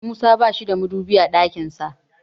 Musa bashi da madubi a ɗakin sa.